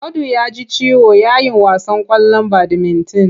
Audu ya ji ciwo yayin wasan ƙwallon badimitin.